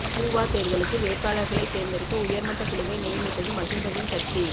ஊவா தேர்தலுக்கு வேட்பாளர்களைத் தேர்ந்தெடுக்க உயர்மட்டக் குழுவை நியமித்தது மஹிந்தவின் கட்சி